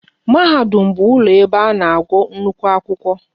Mahadum bụ ụlọ ebe a na-agụ nnukwu akwụkwọ